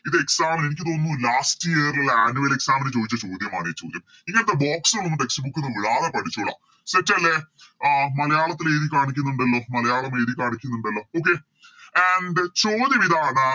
ഇത് Exam ന് എനിക്ക് തോന്നുന്നു Last year ലെ Annual exam ന് ചോയിച്ച ചോദ്യമാണ് ഈ ചോദ്യം ഇതെന്തോ Box ഉം Text book ഒന്നും വിടാതെ പഠിച്ചോള Set അല്ലെ അഹ് മലയാളത്തില് എഴുതി കാണിക്കുന്നുണ്ടല്ലോ മലയാളം എഴുതി കാണിക്കുന്നുണ്ടല്ലോ Okay and ചോദ്യമിതാണ്